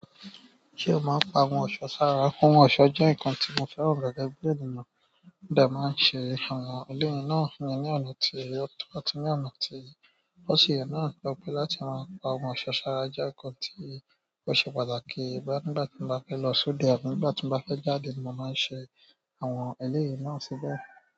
Ṣé o máa ń pa oun ọ̀ṣọ́ sára? Oun ọ̀ṣọ́ jẹ́ nǹkan tí mo fẹ́ràn gẹ́gẹ́ bí ènìyàn. Mó de máa ń ṣe àwọn eléyìí náà ní ọ̀nà tí ó àti ní ọ̀nà tí ó ṣi ye náà to je pé láti máa pa oun ọ̀ṣọ́ sára jẹ́ nǹkan tí ó ṣe pàtàkì bóya nígbà tí mo bá fẹ́ lọ sóde àbí nígbà tí mo bá fẹ́ jáde mo máa ń ṣe àwọn eléyìí náà síbẹ̀.